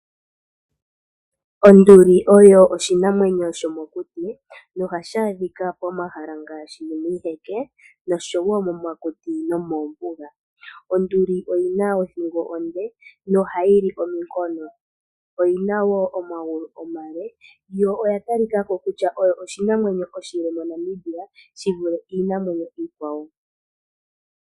Onduli oyo oshinamwenyo shomokuti. Ohashi adhika momahala ngaashi iiheke , momakuti noshowoo moombuga. Onduli oyina othingo onde nohayili ominkono. Oyina woo omagulu omale, yo oya talikako oyo yimwe yomiinamwenyo iile MoNamibia.